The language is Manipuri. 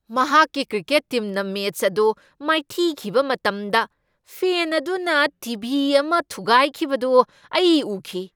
ꯃꯍꯥꯛꯀꯤ ꯀ꯭ꯔꯤꯀꯦꯠ ꯇꯤꯝꯅ ꯃꯦꯆ ꯑꯗꯨ ꯃꯥꯏꯊꯤꯈꯤꯕ ꯃꯇꯝꯗ ꯐꯦꯟ ꯑꯗꯨꯅ ꯇꯤ. ꯚꯤ. ꯑꯃ ꯊꯨꯒꯥꯏꯈꯤꯕꯗꯨ ꯑꯩ ꯎꯈꯤ ꯫